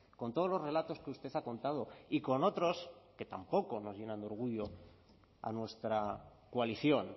con todos los relatos que usted ha contado y con otros que tampoco nos llenan de orgullo a nuestra coalición